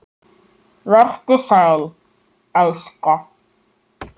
Vertu sæll, elska.